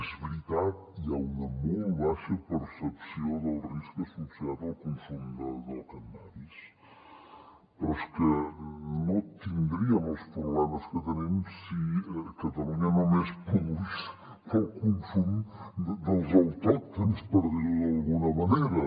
és veritat hi ha una molt baixa percepció del risc associat al consum del cànnabis però és que no tindríem els problemes que tenim si catalunya només produís per al consum dels autòctons per dir ho d’alguna manera